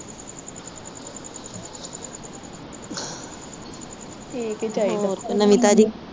ਠੀਕ ਈ ਚਾਹੀਦਾ।